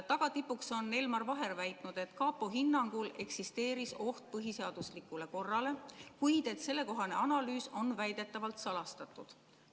Tagatipuks on Elmar Vaher väitnud, et kapo hinnangul eksisteeris oht põhiseaduslikule korrale, kuid et sellekohane analüüs on väidetavalt salastatud.